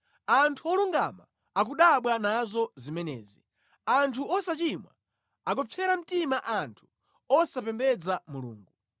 Anthu olungama akudabwa nazo zimenezi; anthu osachimwa akupsera mtima anthu osapembedza Mulungu.